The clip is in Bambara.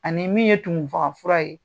Ani min ye tumufagafura ye